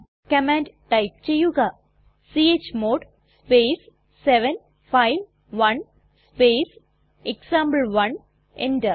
command type ചെയ്യുക chmod space 751 space example one enter